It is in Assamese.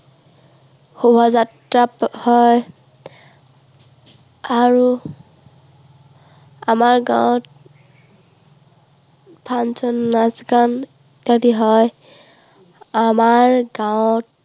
শুভাযাত্ৰা হয়। আৰু আমাৰ গাঁৱত function নাচ গান আদি হয়। আমাৰ গাঁৱত